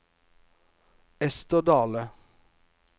Esther Dahle